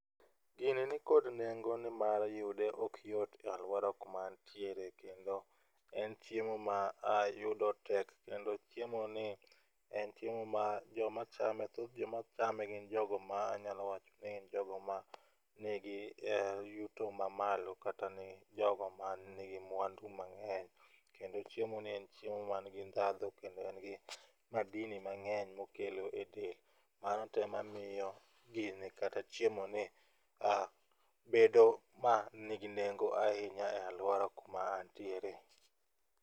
Gini nikod nengo nimar yude ok yot e aluora kuma antiere kendo en chiemo ma yudo tek kendo chiemo ni en chiemo ma joma chame thoth joma chame gin joma chame anyalo wacho ni gin jogo manigi yuto mamalo kata jogo manigi mwandu mang'eny kendo ,chiemo ni en chemo manigi ndhadhu kendo en gi madini mang'eny mokelo e del .Mano tema miyo gini kata chiemo ni bedo manigi nengo ahinya e aluora kuma antiere.